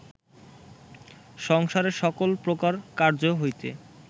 সংসারের সকল প্রকার কার্য্য হইতে